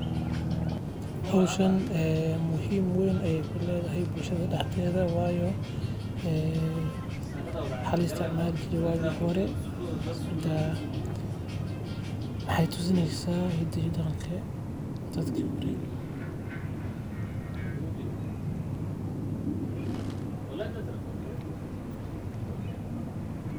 Howshan muhim weyn ay uledahay bulshada daxdetha waayo ee waxaa laisticmali jire wagi hore, waxaay tusineysaah hidi iyo daqanki dadki hore